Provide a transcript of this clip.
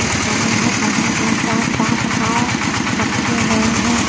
एक नदी है। नदी में चार पाँच नाव रखे हुए हैं।